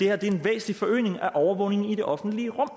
er en væsentlig forøgelse af overvågningen i det offentlige rum